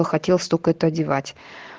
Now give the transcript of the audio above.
хотел столько это одевать